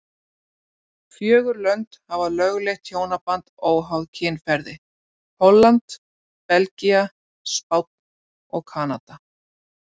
Fjögur lönd hafa lögleitt hjónaband óháð kynferði, Holland, Belgía, Spánn og Kanada.